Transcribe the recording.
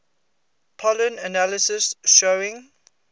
pollen analysis showing